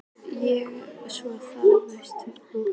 Og svo þagna þeir ekki þótt þeir sofi.